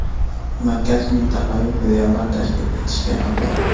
Markaz mintaqaviy filiallar tashkil etishga haqli.